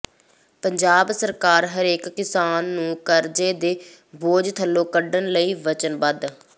ਪੰਜਾਬ ਸਰਕਾਰ ਹਰੇਕ ਕਿਸਾਨ ਨੂੰ ਕਰਜ਼ੇ ਦੇ ਬੋਝ ਥੱਲੋਂ ਕੱਢਣ ਲਈ ਵਚਨਬੱਧ